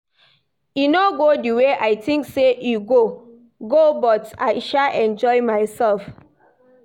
E no go the way I think say e go go but I sha enjoy myself